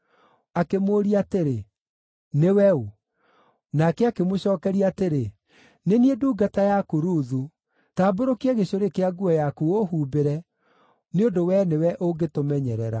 Akĩmũũria atĩrĩ, “Nĩwe ũ?” Nake akĩmũcookeria atĩrĩ, “Nĩ niĩ ndungata yaku Ruthu. Tambũrũkia gĩcurĩ kĩa nguo yaku ũũhumbĩre, nĩ ũndũ wee nĩwe ũngĩtũmenyerera.”